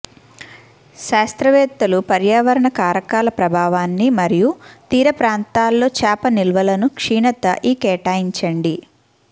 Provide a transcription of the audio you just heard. శాస్త్రవేత్తలు పర్యావరణ కారకాల ప్రభావాన్ని మరియు తీర ప్రాంతాల్లో చేప నిల్వలను క్షీణత ఈ కేటాయించండి